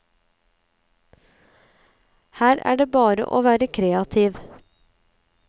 Her er det bare å være kreativ.